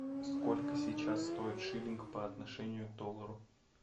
сколько сейчас стоит шиллинг по отношению к доллару